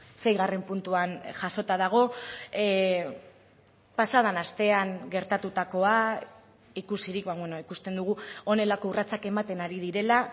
seigarren puntuan jasota dago pasaden astean gertatutakoa ikusirik ikusten dugu honelako urratsak ematen ari direla